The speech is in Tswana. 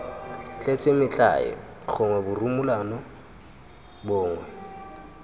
tletse metlae gongwe borumolano gongwe